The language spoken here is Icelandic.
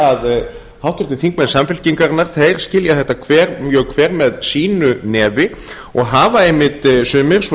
að háttvirtir þingmenn samfylkingarinnar þeir skilja þetta hver með sínu nefi og hafa einmitt sumir eins